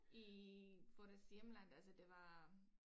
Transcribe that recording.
I for deres hjemland altså det var